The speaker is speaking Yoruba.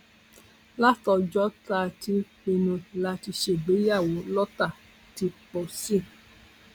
látọjọ tá a ti pinnu láti ṣègbéyàwó lọtà ti pọ sí i